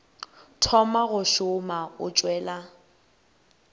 thoma go šoma o tšwela